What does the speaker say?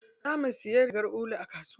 Zamu siya rigar ulu a kasuwa.